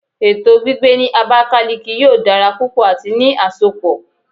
Eto gbigbe ni Abakiliki yoo dara pupọ ati ni asopọ